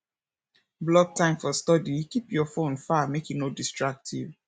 block time for study keep your phone far make e no distract you